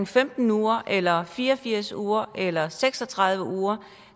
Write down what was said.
femten uger eller fire og firs uger eller seks og tredive uger